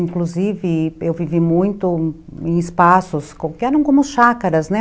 Inclusive, eu vivi muito em espaços que eram como chácaras, né?